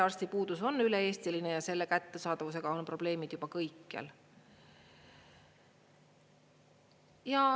Perearstipuudus on üle-eestiline ja selle abi kättesaadavusega on probleemid juba kõikjal.